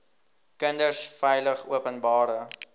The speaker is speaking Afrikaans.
kinders veilig openbare